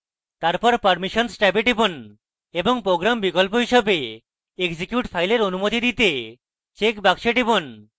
তারপর permissions ট্যাবে টিপুন এবং program বিকল্প হিসেবে এক্সিকিউট file অনুমতি দিতে check box টিপুন